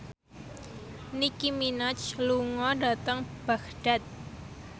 Nicky Minaj lunga dhateng Baghdad